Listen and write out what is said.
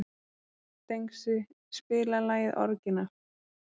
Dengsi, spilaðu lagið „Orginal“.